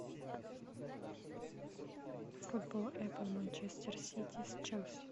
футбол апл манчестер сити с челси